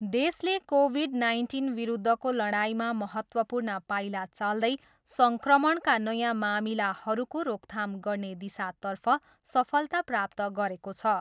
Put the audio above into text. देशले कोभिड नाइन्टिनविरुद्धको लडाइँमा महत्वपूर्ण पाइला चाल्दै सङ्क्रमणका नयाँ मामिलाहरूको रोकथाम गर्ने दिशातर्फ सफलता प्राप्त गरेको छ।